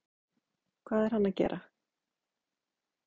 Hvað er hann að gera?